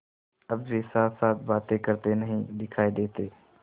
अब वे साथसाथ बातें करते नहीं दिखायी देते